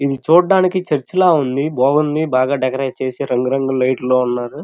ఇది చూడడానికి చర్చ్ లా ఉంది. బాగుంది బాగా డెకరేట్ చేసారు రంగు రంగు లైట్ లా ఉన్నారు.